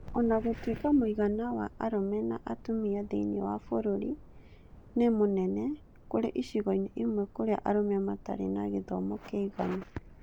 O na gũtuĩka mũigana wa arũme na atumia thĩinĩ wa bũrũri nĩ mũnene, kũrĩ icigo-inĩ imwe kũrĩa arũme matarĩ na gĩthomo kĩiganu.